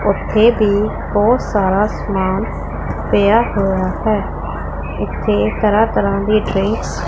ਉੱਥੇ ਭੀ ਬਹੁਤ ਸਾਰਾ ਸਮਾਨ ਪਿਆ ਹੋਇਆ ਹੈ ਇੱਥੇ ਤਰ੍ਹਾਂ ਤਰ੍ਹਾਂ ਦੀ ਡ੍ਰਿੰਕਸ --